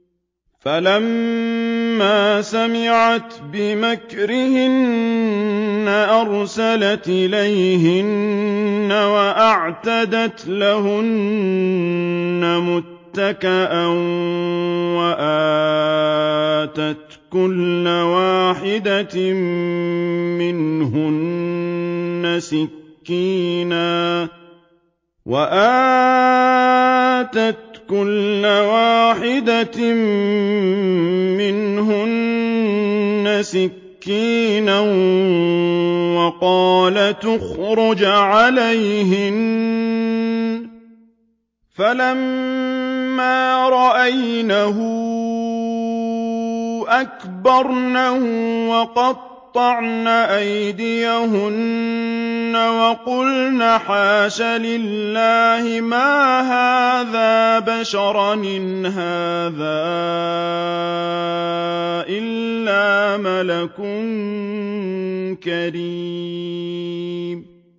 فَلَمَّا سَمِعَتْ بِمَكْرِهِنَّ أَرْسَلَتْ إِلَيْهِنَّ وَأَعْتَدَتْ لَهُنَّ مُتَّكَأً وَآتَتْ كُلَّ وَاحِدَةٍ مِّنْهُنَّ سِكِّينًا وَقَالَتِ اخْرُجْ عَلَيْهِنَّ ۖ فَلَمَّا رَأَيْنَهُ أَكْبَرْنَهُ وَقَطَّعْنَ أَيْدِيَهُنَّ وَقُلْنَ حَاشَ لِلَّهِ مَا هَٰذَا بَشَرًا إِنْ هَٰذَا إِلَّا مَلَكٌ كَرِيمٌ